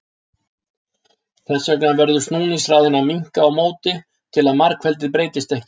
þess vegna verður snúningshraðinn að minnka á móti til að margfeldið breytist ekki